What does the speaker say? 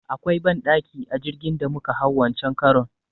Akwai banɗaki a jirgin da muka hau wancen karon.